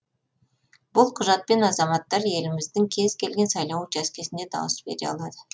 бұл құжатпен азаматтар еліміздің кез келген сайлау учаскесіне дауыс бере алады